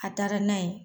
A taara n'a ye